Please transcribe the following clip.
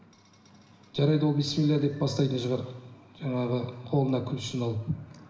жарайды ол бісміллә деп бастайтын шығар жаңағы қолына ключін алып